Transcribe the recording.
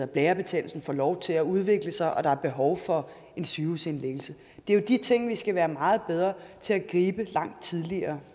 blærebetændelse får lov til at udvikle sig og der er behov for en sygehusindlæggelse det er jo de ting vi skal være meget bedre til at gribe langt tidligere